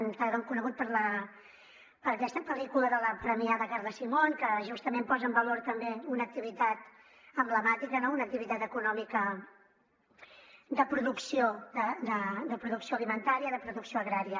que ara l’hem conegut per aquesta pel·lícula de la premiada carla simón que justament posa en valor també una activitat emblemàtica una activitat econòmica de producció alimentària de producció agrària